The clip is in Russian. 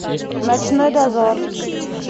ночной дозор